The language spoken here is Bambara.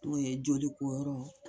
N'o ye jolikoyɔrɔ